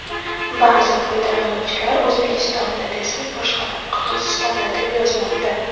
Ba’zi foydalanuvchilar O‘zbekistonda desa, boshqalar Qirg‘izistonda deb yozmoqda.